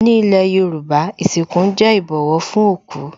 Ní ilé Yorùbá, ìsìnkú jẹ́ ìbọ̀wọ̀ fún òkú